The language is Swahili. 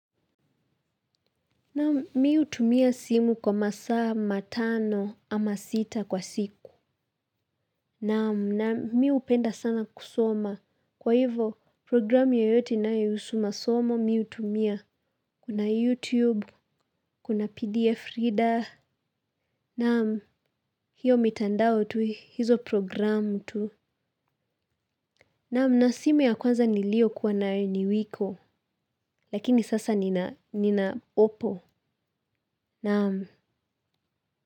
Nam, mihutumia simu kwa masaa matano ama sita kwa siku. Nam, nam, mihupenda sana kusoma. Kwa hivo, programu yeyote inayo husu masomo miu tumia. Kuna YouTube, kuna PDF reader. Nam, hiyo mitandao tu, hizo programu tu. Nam, na simu ya kwanza nilio kuwa nae ni wiko. Lakini sasa nina, nina opo. Nam.